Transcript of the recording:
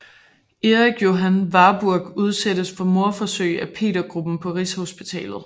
Erik Johan Warburg udsættes for mordforsøg af Petergruppen på Rigshospitalet